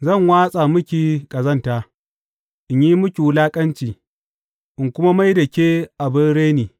Zan watsa miki ƙazanta, in yi miki wulaƙanci in kuma mai da ke abin reni.